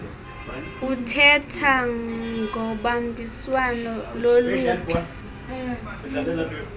uthetha ngobambiswano loluphi